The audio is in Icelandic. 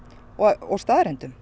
og staðreyndum